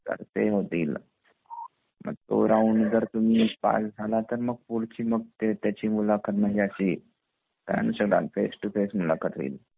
तर ते होतील मग तो राऊंड जर तुम्ही पास झाला तर मग पुढची मग त्याची मुलाखत घेण्यात येईल फेस टु फेस मुलाखत घेण्यात येईल तर एप्टिट्यूड मध्ये जे आपले क्वेस्शन्स असतात बघा ते नॉर्मल जे मॅथ्स चे क्वेस्शन्स असतात